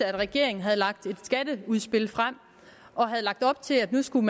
at regeringen havde lagt et skatteudspil frem og havde lagt op til at nu skulle